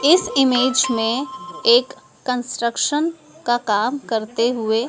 इस इमेज में एक कंस्ट्रक्शन का काम करते हुए--